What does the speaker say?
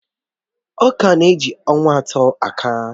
Ọ̀ka na-eji ọnwa atọ akàa